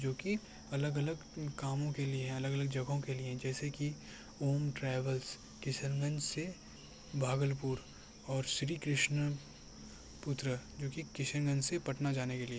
जोकि अलग-अलग काम को करने के लिए है अलग-अलग जगहों लिए है जैसे कि ओम ट्रैवल किशनगंज से भागलपुर के लिए और श्री कृष्णा पुत्र जो कि किशनगंज से पटना जाने के लिए।